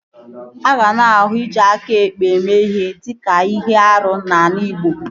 A ga na-ahụ iji aka ekpe mee ihe dịka ihe árú n'ala igbo